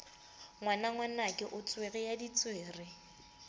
ngwanangwanake o tswere ya ditswere